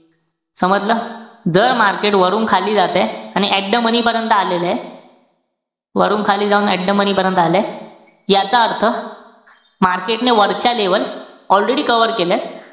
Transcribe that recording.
समजलं? जर market वरून खाली जातंय, आणि at the money पर्यंत आलेलंय. वरून खाली जाऊन at the money पर्यंत आलंय. याचा अर्थ market ने वरच्या level already cover केल्यात.